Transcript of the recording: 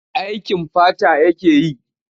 Aikin fata yake yi.